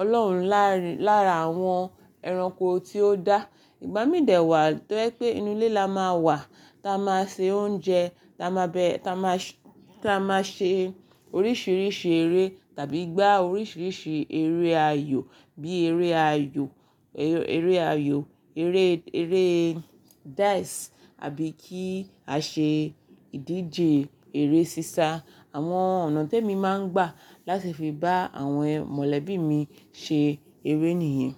ọlọ́run láàárin, lára àwọn ẹranko tí ó dá. Ìgbà mí dè wà tó jẹ́ pé inú ilé la máa wà, táa máa ṣe oúnjẹ, táa máa bẹ, táa máa ṣ, táa máa ṣe oríṣiiríṣii eré tàbí gbá oríṣiiríṣii eré ayò bí eré ayò, eré ayò, eré, eré dice àbí kí a ṣe ìdíje eré sísá. Àwọn ọ̀nà tí èmi máa ń gbà láti fi bá àwọn mọ̀lẹ́bí mi ṣe eré nìyẹn.